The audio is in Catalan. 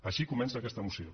així comença aquesta moció